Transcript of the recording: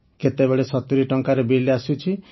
କେତେବେଳେ ୭୦ ଟଙ୍କାର ବିଲ୍ ଆସୁଛି